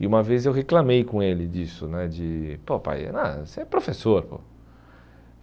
E uma vez eu reclamei com ele disso né, de, pô pai, ah você é professor pô.